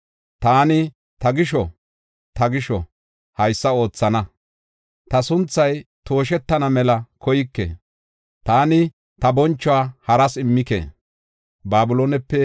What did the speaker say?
Taani ta gisho, haysa oothana; ta sunthay tooshetana mela koyke; taani ta bonchuwa haras immike.”